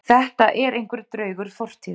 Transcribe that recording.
Þetta er einhver draugur fortíðar